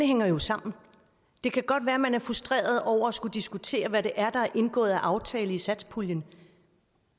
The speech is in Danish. hænger sammen det kan godt være at man er frustreret over at skulle diskutere hvad der er indgået af aftaler i satspuljen